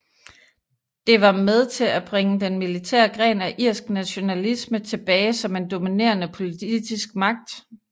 Det var med til at bringe den militære gren af irsk nationalisme tilbage som en dominerende politisk magt